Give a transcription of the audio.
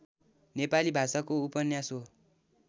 नेपाली भाषाको उपन्यास हो